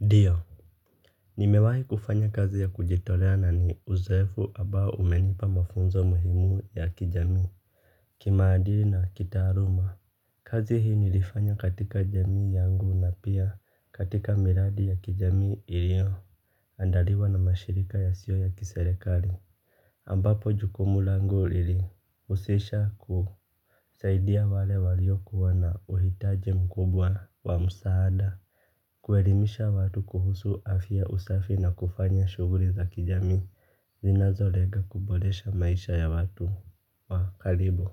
Ndio, nimewahi kufanya kazi ya kujitolea na ni uzoefu ambao umenipa mafunzo muhimu ya kijamii. Kimaadili na kitaaluma. Kazi hii nilifanya katika jamii yangu na pia katika miradi ya kijamii ilio. Andaliwa na mashirika yasio ya kiserekali. Ambapo jukumu langu ili husisha ku. Saidia wale walio kuwa na uhitaji mkubwa wa msaada. Kuelimisha watu kuhusu afya usafi na kufanya shughuli za kijami zinazo lenga kuboresha maisha ya watu wa karibu.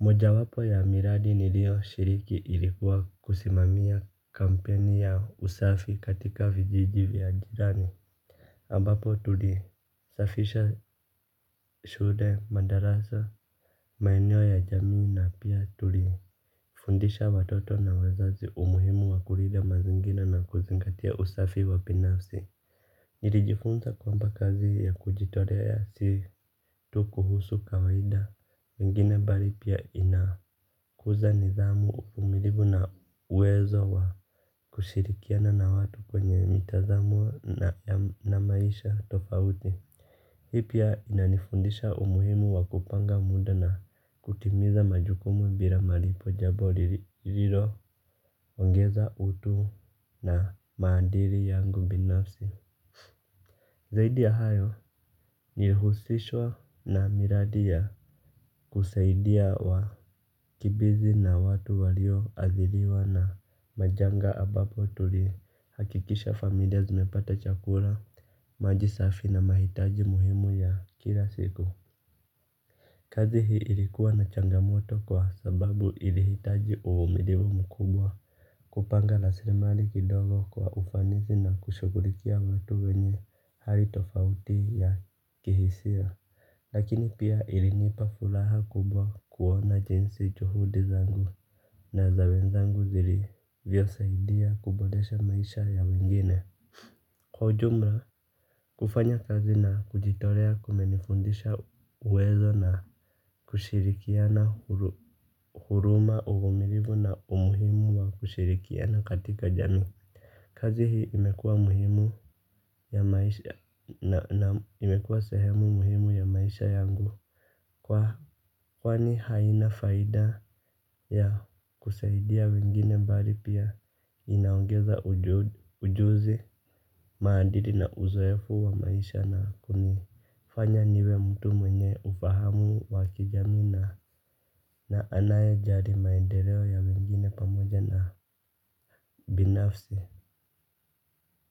Mojawapo ya miradi nilioshiriki ilikuwa kusimamia kampeni ya usafi katika vijiji vya jirani ambapo tulisafisha shule, madarasa, maeneo ya jamii na pia tuliFundisha watoto na wazazi umuhimu wakulinda mazingira na kuzingatia usafi wabinafsi. Nilijifunza kwamba kazi ya kujitolea ya si tu kuhusu kawaida mingine bali pia inakuza nidhamu uvumilivu na uwezo wa kushirikiana na watu kwenye mitazamo na maisha tofauti. Hii pia inanifundisha umuhimu wakupanga muda na kutimiza majukumu bila malipo jambo liliilo ongeza utu na maadili yangu binafsi. Zaidi ya hayo nilihusishwa na miradi ya kusaidia wakimbizi na watu walioadhiriwa na majanga ambapo tulihakikisha familia zimepata chakula maji safi na mahitaji muhimu ya kila siku. Kazi hii ilikuwa na changamoto kwa sababu ilihitaji uvumilivu mkubwa kupanga rasilimali kidogo kwa ufanisi na kushughulikia watu wenye hali tofauti ya kihisia. Lakini pia ilinipa furaha kubwa kuona jinsi juhudi zangu na za wenzangu zilivyosaidia kuboresha maisha ya wengine. Kwa ujumla kufanya kazi na kujitolea kumenifundisha uwezo na kushirikiana huruma uvumilivu na umuhimu wa kushirikiana katika jamii. Kazi hii imekuwa muhimu ya maisha na imekuwa sehemu muhimu ya maisha yangu kwani haina faida ya kusaidia wengine bali pia inaongeza ujuzi maadili na uzoefu wa maisha na kunifanya niwe mtu mwenye ufahamu wa kijamii na na anayejali maendeleo ya wengine pamoja na binafsi.